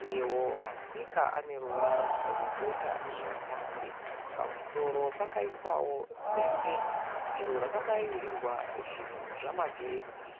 Uyewo masipika aneruvara rwedota zvekare. Pamusoro paiswawo dende iro rakabairirwa zvinhu zvemagetsi.